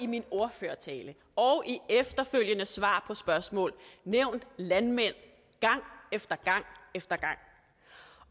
min ordførertale og i efterfølgende svar på spørgsmål nævnt landmænd gang efter gang